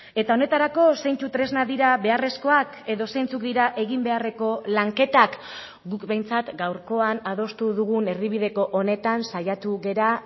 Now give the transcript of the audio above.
eta honetarako zeintzuk tresnak dira beharrezkoak edo zeintzuk dira egin beharreko lanketak guk behintzat gaurkoan adostu dugun erdibideko honetan saiatu gara